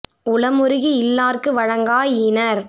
உளமுருகி இல்லார்க்கு வழங்கா ஈனர்